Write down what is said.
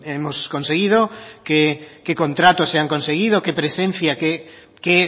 hemos conseguido qué contratos se han conseguido qué presencia qué